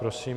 Prosím.